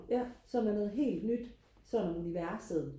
ja som er noget helt nyt sådan universet